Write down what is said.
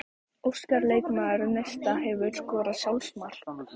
Óskar leikmaður Neista Hefurðu skorað sjálfsmark?